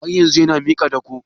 Har yanzun yana miki dako?